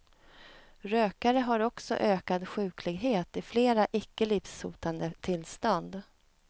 Rökare har också ökad sjuklighet i flera icke livshotande tillstånd.